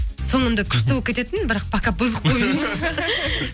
соңында күшті болып кететін бірақ пока бұзық болып